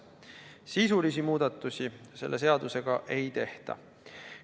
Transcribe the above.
Sisulisi muudatusi selle seadusega ei tehta.